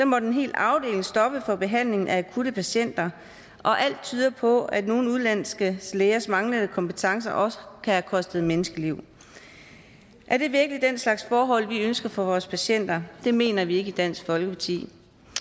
måtte en hel afdeling stoppe for behandlingen af akutte patienter og alt tyder på at nogle udenlandske lægers manglende kompetencer også kan have kostet menneskeliv er det virkelig den slags forhold vi ønsker for vores patienter det mener vi ikke i dansk folkeparti